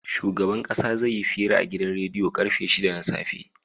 Shugaban ƙasa zai yi hira a gidan rediyo karfe shida na safe